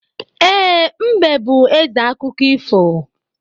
E, mbe bú ézè akụkọ ifo